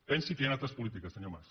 pensi que hi han altres polítiques senyor mas